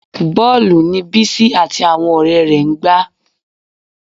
Bọ́ọ̀lù ni Bísí àti àwọn ọ̀rẹ́ rẹ̀ ń gbá